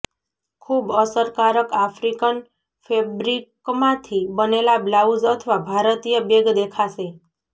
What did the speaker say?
ખૂબ અસરકારક આફ્રિકન ફેબ્રિકમાંથી બનેલા બ્લાઉઝ અથવા ભારતીય બેગ દેખાશે